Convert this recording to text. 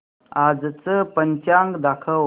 आजचं पंचांग दाखव